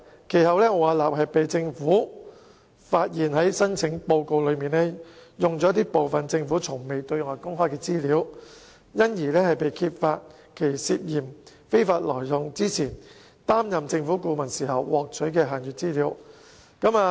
政府其後發現奧雅納在其申請報告挪用政府從未對外公開的資料，因而揭發它涉嫌非法挪用擔任政府顧問時獲取的限閱資料。